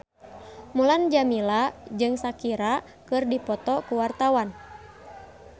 Mulan Jameela jeung Shakira keur dipoto ku wartawan